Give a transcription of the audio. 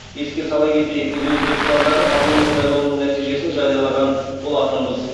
еске сала кетейік біз өзбекстандағы парламент сайлауының нәтижесін жариялаған болатынбыз